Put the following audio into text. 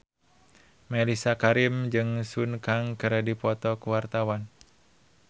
Mellisa Karim jeung Sun Kang keur dipoto ku wartawan